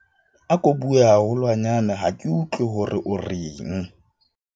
ako bue haholwanyane ha ke utlwe hore o reng